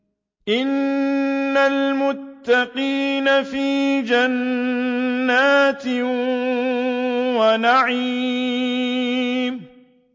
إِنَّ الْمُتَّقِينَ فِي جَنَّاتٍ وَنَعِيمٍ